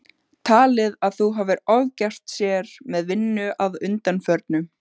Talið að hún hafi ofgert sér með vinnu að undanförnu.